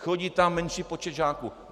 Chodí tam menší počet žáků.